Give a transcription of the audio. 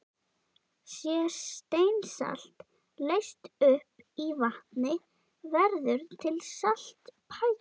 Sé steinsalt leyst upp í vatni, verður til saltpækill.